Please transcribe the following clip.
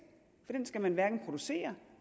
for den skal man hverken producere